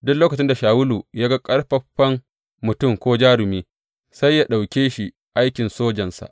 Duk lokacin da Shawulu ya ga ƙaƙƙarfan mutum ko jarumi, sai yă ɗauke shi aikin sojansa.